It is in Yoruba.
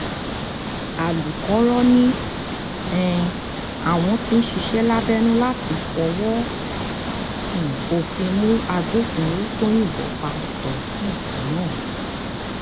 alūkọ̀rọ̀ ni um àwọn ń ṣiṣẹ́ lábẹ́nú láti fọwọ́ um òfin mú agbófinró tó yìnbọn pa tohééb náà